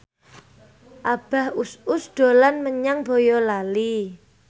Abah Us Us dolan menyang Boyolali